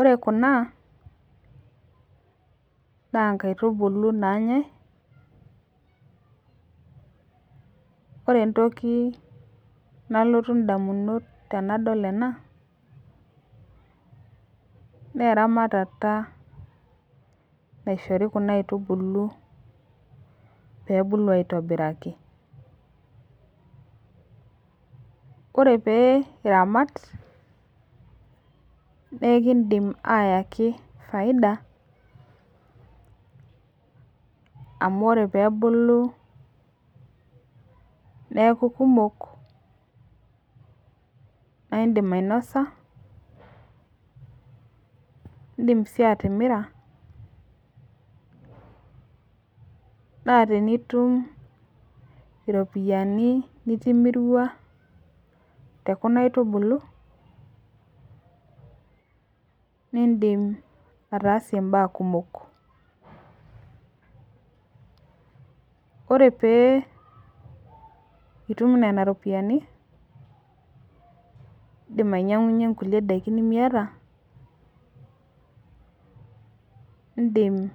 ore kuna naa nkaitubulu naanyai ore entoki nalotu ndamunot tenadol ena naa eramatata naishori kuna aitubulu pee bulu aitobiraki, ore pee iramat na ikindim ayaki faida amu ore peebulu niaku kumok na indim ainosa na indim sii atimira na tinitum ropiani nitimirua too kuna aitubulu nindim aitsie mbaa kumok ore pee itum nena ropiani nindim ainyangunye kulie daiki nemiata indim